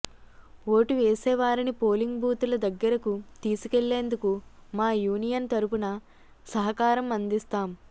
vote వేసేవారిని polling బూతుల దగ్గరకు తీసుకెళ్లేందుకు మా యూనియన్ తరపున సహకారం అందిస్తాం